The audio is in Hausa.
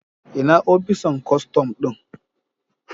Ina opisan kostom din